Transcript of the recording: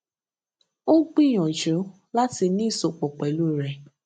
ó gbìyànjú láti ní ìsopọ pẹlú rẹ